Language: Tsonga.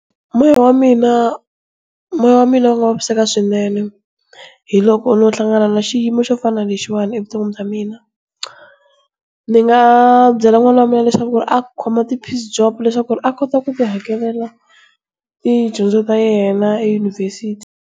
Moya wa mina moya wa mina wu nga vaviseka swinene hiloko no hlangana na xiyimo xo fana na lexiwani evuton'wini bya mina. Ni nga byela n'wana wa mina leswaku a khoma ti piece job leswaku a kota ku ti hakelela tidyondzo ta yena eyunivhesiti.